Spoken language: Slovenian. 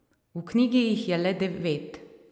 V knjigi jih je le devet.